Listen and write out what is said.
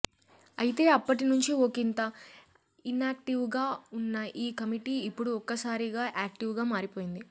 అయితే అప్పటి నుంచి ఒకింత ఇనాక్టివ్గా ఉన్న ఈ కమిటీ ఇప్పుడు ఒక్కసారిగా యాక్టివ్గా మారిపోయింది